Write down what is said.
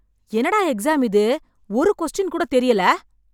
என்னடா எக்ஸாம் இது ஒரு கொஸ்டின் கூட தெரியல